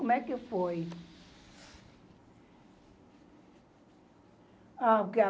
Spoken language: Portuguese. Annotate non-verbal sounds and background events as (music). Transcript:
Como é que foi? (unintelligible)